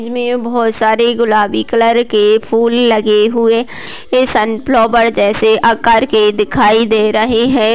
इसमें बहोत सारे गुलाबी कलर के फुल लगे हुए। वे सनफ्लावर जैसे आकार के दिखाई दे रहे है।